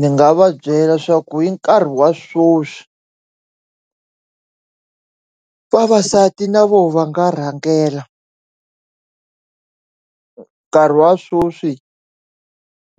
Ni nga va byela swaku i nkarhi wa swoswi vavasati na vona va nga rhangela nkarhi wa swoswi